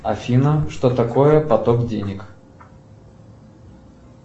афина что такое поток денег